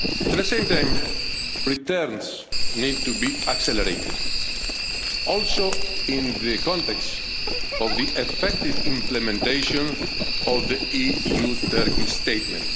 At the same time returns need to be accelerated also in the context of the effective implementation of the EU Turkey statement.